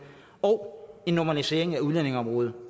og en normalisering af udlændingeområdet